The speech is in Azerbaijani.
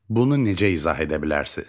Bunu necə izah edə bilərsiniz?